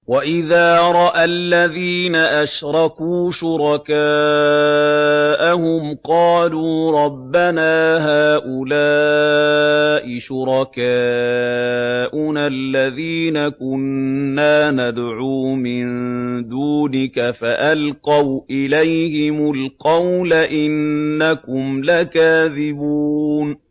وَإِذَا رَأَى الَّذِينَ أَشْرَكُوا شُرَكَاءَهُمْ قَالُوا رَبَّنَا هَٰؤُلَاءِ شُرَكَاؤُنَا الَّذِينَ كُنَّا نَدْعُو مِن دُونِكَ ۖ فَأَلْقَوْا إِلَيْهِمُ الْقَوْلَ إِنَّكُمْ لَكَاذِبُونَ